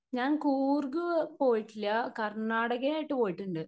Speaker 1 ഞാൻ കൂർഗ് പോയിട്ടില്യ കർണാടകയായിട്ട് പോയിട്ടുണ്ട്‌.